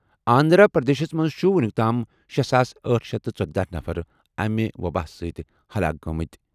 آندھرا پردیشَس منٛز چھِ وُنیُک تام شے ساس أٹھ شیتھ ژۄدہَ نفر امہِ وبٲیی وجہ سۭتۍ ہلاک گٔمٕتۍ۔